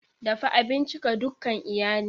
Dafa abinci ga dukan iyali!